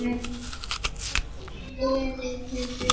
Hvort liðið er betra?